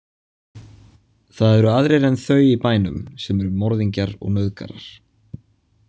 Það eru aðrir en þau í bænum sem eru morðingjar og nauðgarar.